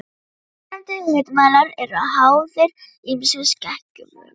Fyrrnefndir hitamælar eru háðir ýmsum skekkjuvöldum.